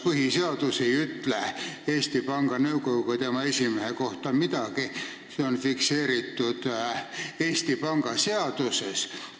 Põhiseadus ei ütle Eesti Panga Nõukogu ja tema esimehe kohta midagi, see on fikseeritud Eesti Panga seaduses.